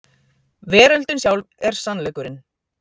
Veröldin sjálf er sannleikurinn.